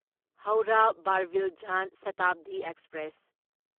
Howrah Barbil Jan Shatabdi express